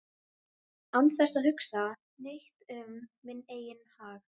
án þess að hugsa neitt um minn eigin hag